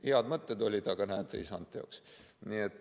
Head mõtted olid, aga näed, ei saanud teoks.